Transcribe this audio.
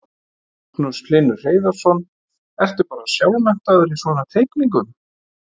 Magnús Hlynur Hreiðarsson: Ertu bara sjálfmenntaður í svona teikningum?